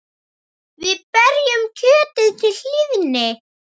Við berjum kjötið til hlýðni.